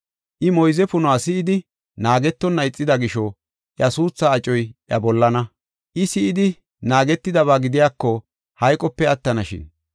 I moyze punuwa si7idi, naagetonna ixida gisho iya suuthaa acoy iya bollana. I si7idi naagetidaba gidiyako hayqope attanashin.